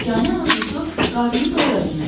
Yeganə arzusu qarnını doyura bilməkdir.